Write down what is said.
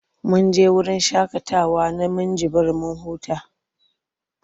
Mun je wurin shaƙatawa na Minjibir mun huta.